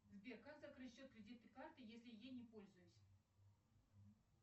сбер как закрыть счет кредитной карты если ей не пользуюсь